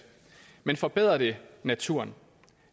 men forbedrer det naturen